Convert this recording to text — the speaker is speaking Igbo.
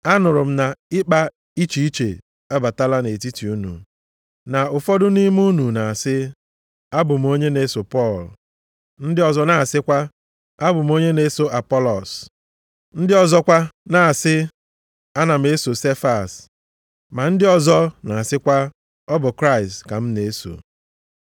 Anụrụ m na ịkpa iche iche abatala nʼetiti unu. Na ụfọdụ nʼime unu na-asị, “Abụ m onye na-eso Pọl”; ndị ọzọ na-asịkwa, “Abụ m onye na-eso Apọlọs”; ndị ọzọkwa na-asị, “Ana m eso Sefas”; ma ndị ọzọ na-asịkwa, “Ọ bụ Kraịst ka m na-eso.”